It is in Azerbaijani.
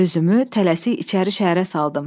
Özümü tələsik içəri şəhərə saldım.